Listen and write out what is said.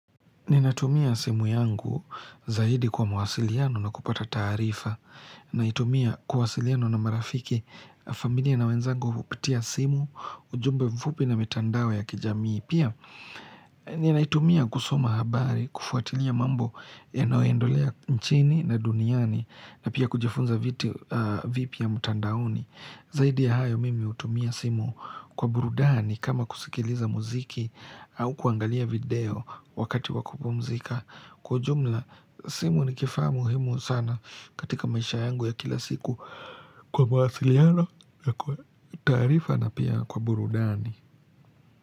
Ninatumia simu yangu zaidi kwa mawasiliano na kupata taarifa. Naitumia kuwasiliana na marafiki, familia na wenzangu kupitia simu ujumbe mfupi na mitandao ya kijamii Pia ninaitumia kusoma habari kufuatilia mambo yanaoendolea nchini na duniani na pia kujifunza vitu vipya mtandaoni Zaidi ya hayo mimi hutumia simu kwa burudani kama kusikiliza muziki au kuangalia video wakati wakupumzika. Kwa ujumla, simu ni kifaa muhimu sana katika maisha yangu ya kila siku kwa mawasiliano na kwa taarifa na pia kwa burudani.